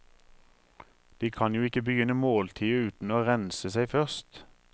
De kan jo ikke begynne måltidet uten å rense seg først.